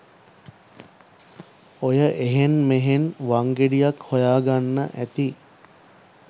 ඔය එහෙන් මෙහෙන් වංගෙඩියක් හොයාගන්න ඇති